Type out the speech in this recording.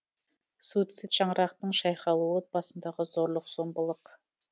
суицид шаңырақтың шайқалуы отбасындағы зорлық зомбылық